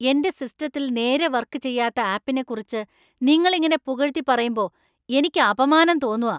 എന്‍റെ സിസ്റ്റത്തില്‍ നേരെ വർക്ക് ചെയ്യാത്ത ആപ്പിനെക്കുറിച്ച് നിങ്ങൾ ഇങ്ങനെ പുകഴ്‌ത്തി പറയുമ്പോ എനിക്ക് അപമാനം തോന്നുകാ.